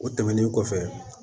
O tɛmɛnen kɔfɛ